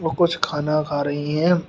वो कुछ खाना खा रही है।